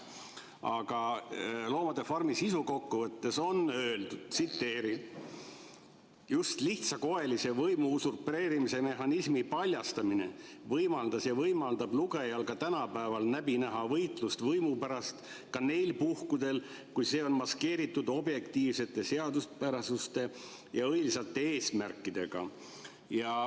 Aga "Loomade farmi" sisukokkuvõttes on öeldud: "Just lihtsakoelise võimu-usupreerimise mehhanismi paljastamine võimaldas ja võimaldab lugejal ka tänapäeval läbi näha võitlust võimu pärast ka neil puhkudel, kui see on maskeeritud objektiivsete seaduspärasuste ja õilsate eesmärkidega.